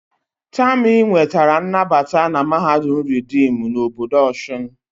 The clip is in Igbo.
Tami nwetara nnabata na mahadum reedim na obodo Osun